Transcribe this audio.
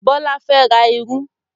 Bọlá fẹ́ ra irú